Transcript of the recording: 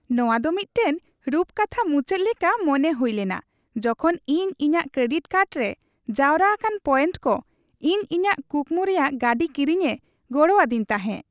ᱱᱚᱶᱟ ᱫᱚ ᱢᱤᱫᱴᱟᱝ ᱨᱩᱯᱠᱟᱛᱷᱟ ᱢᱩᱪᱟᱹᱫ ᱞᱮᱠᱟ ᱢᱚᱱᱮ ᱦᱩᱭ ᱞᱮᱱᱟ ᱡᱚᱠᱷᱚᱱ ᱤᱧ ᱤᱧᱟᱹᱜ ᱠᱨᱮᱰᱤᱴ ᱠᱟᱨᱰ ᱨᱮ ᱡᱟᱣᱨᱟ ᱟᱠᱟᱱ ᱯᱚᱭᱮᱱᱴ ᱠᱚ ᱤᱧ ᱤᱧᱟᱹᱜ ᱠᱩᱠᱢᱩ ᱨᱮᱭᱟᱜ ᱜᱟᱹᱰᱤ ᱠᱤᱨᱤᱧᱮ ᱜᱚᱲᱚ ᱟᱹᱫᱤᱧ ᱛᱟᱦᱮᱸ ᱾